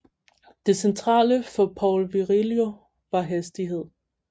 Det centrale for Paul Virilio var hastighed